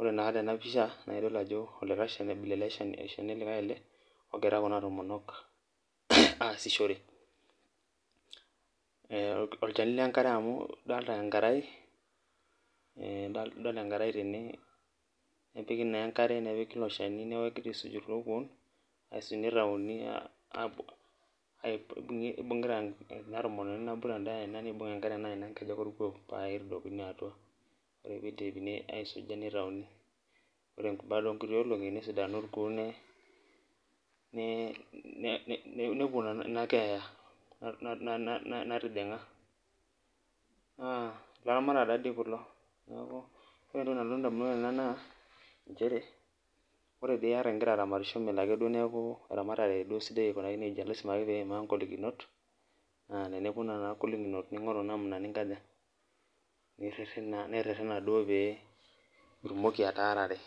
ore na tenapisha na idol ajo like shani ele ogira lunabtomonok aaisishore ,olchani lenkare ele amu idol enkaraetene nepiki naa enkare nepiki iloshani neaku kegirai aisuj kulo kuon asi nitauni apuo ibungita enatomononi nabo enkuku orkuo nibungita enkae pa kitadokini aru yiolo pidipi aisuj nitauni ore baasa onkuti olongi nesidanu orkuo nepuobinakeeya na laramatak taa kullo ore entoki nalotu ndamunot nanchere ore piata ingira aramatisho na melo ake duo enaramatare nelo aku sidai aiko nejia lasima ake peimaa ngolikinot na eneponu nona golikinot na lasima ake piririna duo peyie itumoki ataarare.